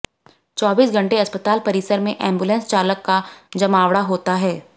चौबीस घंटे अस्पताल परिसर में एंबुलेंस चालक का जमावड़ा होता है